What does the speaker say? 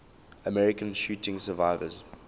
american shooting survivors